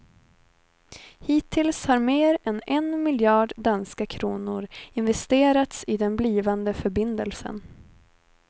Hittills har mer än en miljard danska kronor investerats i den blivande förbindelsen.